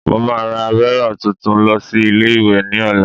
Mo máa ra bírò tuntun lọ sí ilé-ìwé ní ọ̀la